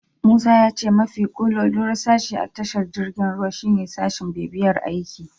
Musa ya ce mafi kololuwar sashe a tashar jirgin ruwa shine sashin bibiyar aiki.